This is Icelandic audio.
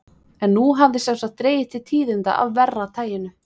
En nú hafði sem sagt dregið til tíðinda af verra taginu.